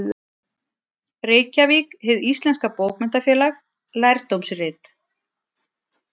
Reykjavík: Hið íslenska bókmenntafélag, lærdómsrit.